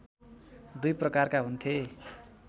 दुई प्रकारका हुन्थे